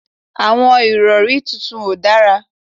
Àwọn ìrọ̀rí tuntun ò dára